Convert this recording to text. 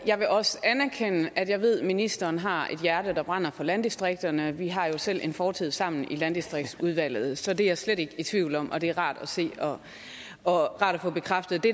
jeg vil også anerkende at jeg ved at ministeren har et hjerte der brænder for landdistrikterne vi har jo selv en fortid sammen i landdistriktsudvalget så det er jeg slet ikke i tvivl om og det er rart at se og få bekræftet det